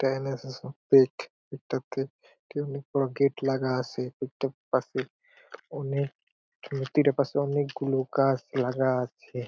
একটা অনেক বড় গেট লাগা আছে | একটা পাশে অনেক মূর্তির ও পাশে অনেক গুলো গাছ লাগা আছে।